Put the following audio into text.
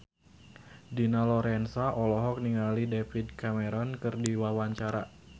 Dina Lorenza olohok ningali David Cameron keur diwawancara